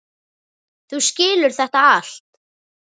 Þú skilur þetta allt.